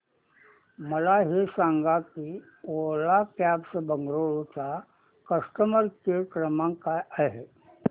मला हे सांग की ओला कॅब्स बंगळुरू चा कस्टमर केअर क्रमांक काय आहे